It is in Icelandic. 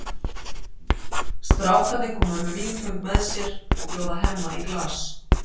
Strákarnir koma með vínföng með sér og bjóða Hemma í glas.